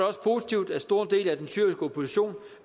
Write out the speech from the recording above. også positivt at store dele af den syriske opposition